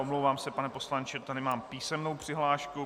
Omlouvám se, pane poslanče, tady mám písemnou přihlášku.